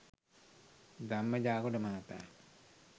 ධම්ම ජාගොඩ මහතා